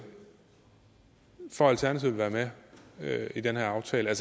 for at alternativet vil være med i den her aftale og